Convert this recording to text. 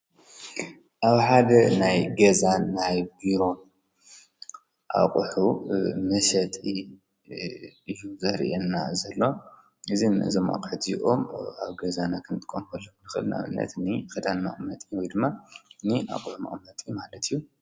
ኣብሓደ ናይ ገዛን ናይ ቢሮን ኣቝሑ ምሰት ዩዘር የና ዘሎ እዝ ንዘማኸት ዚኦም ኣብ ገዛና ኽንጥቆምፈልዂልክል ናኣብነት ኒ ኽዳን መእመጢ ዊድማ ኒ ኣቝሕ መቕመጢ ማለት እዩ::